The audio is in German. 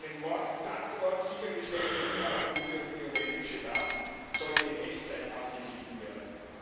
An einem Mordtatort sichergestellte Fingerabdrücke und biometrische Daten sollten in Echtzeit abgeglichen werden.